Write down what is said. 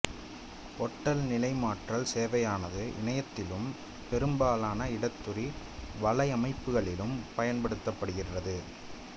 பொட்டல நிலைமாற்றல் சேவையானது இணையத்திலும் பெரும்பாலான இடத்துரி வலையமைப்புகளிலும் பயன்படுத்தப்படுகின்றது